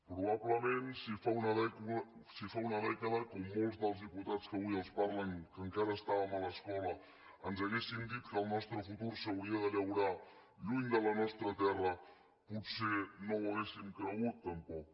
probablement si fa una dècada com molts dels diputats que avui els parlen que encara estàvem a l’escola ens haguessin dit que el nostre futur s’hauria de llaurar lluny de la nostra terra potser no ho hauríem cregut tampoc